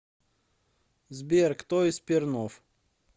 сбер кто из пернов